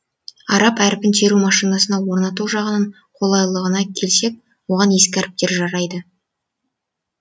араб әрпін теру машинасына орнату жағынан қолайлылығына келсек оған ескі әріптер жарайды